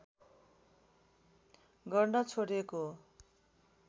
गर्न छोडेको